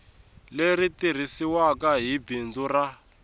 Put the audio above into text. leri tirhisiwaku hi bindzu ra